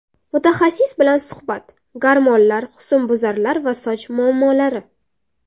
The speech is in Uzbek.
Mutaxassis bilan suhbat: Gormonlar, husnbuzarlar va soch muammolari.